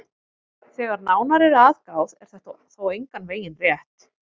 Þegar nánar er að gáð er þetta þó engan veginn rétt.